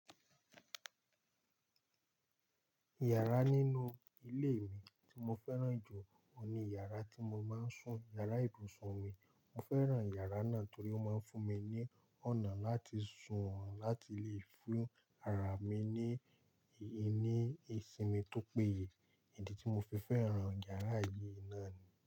Yàrá nínú ilé mi tí mo fẹ́ràn jù oun ní yàrá tí mo máa ń sùn, yàrá ibùsùn mi. Mo fẹ́ràn yàrá náà torí ó máa ń fún mi ní ọ̀nà láti sùn láti lè fún ara mi ní, ní ìsinmi tó péye. Èdè tí mo fi fẹ́ràn yàrá yìí náà ni.